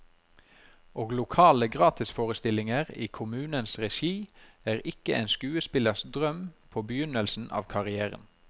Og lokale gratisforestillinger i kommunens regi er ikke en skuespillers drøm på begynnelsen av karrièren.